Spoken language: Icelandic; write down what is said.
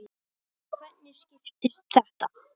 Og hvernig skiptist þetta?